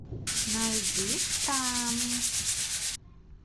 найди штамм